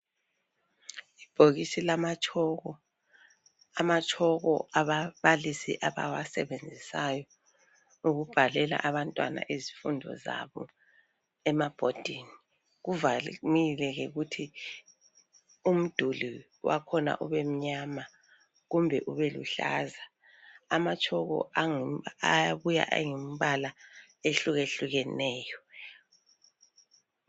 Ibhokisi lamatshoko, amatshoko ababalisi abawasebenzisayo ukubhalela abantwana izifundo zabo emabhodini. Kuvamile ke ukuthi umduli wakhona ube mnyama kumbe ubeluhlaza. Amatshoko ayabuya eyimibala ehlukehlukeneyo.